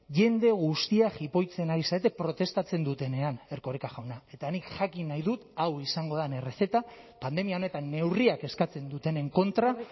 jende guztia jipoitzen ari zarete protestatzen dutenean erkoreka jauna eta nik jakin nahi dut hau izango den errezeta pandemia honetan neurriak eskatzen dutenen kontra